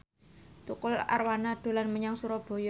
Tukul Arwana dolan menyang Surabaya